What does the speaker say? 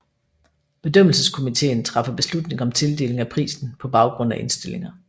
Bedømmelseskomiteen træffer beslutning om tildeling af prisen på baggrund af indstillinger